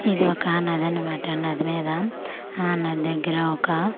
ఇది ఒక నది అన్నమాట నది మీద ఆ నది దెగ్గర ఒక.